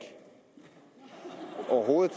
overhovedet